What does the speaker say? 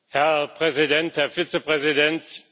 Herr Präsident, Herr Vizepräsident!